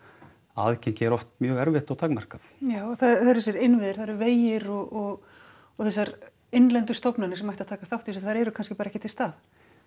aðgengi er oft mjög erfitt og takmarkað já það eru þessir innviðir það eru vegir og og þessar innlendu stofnanir sem ættu að taka þátt í þessu þær eru bara kannski ekki til staðar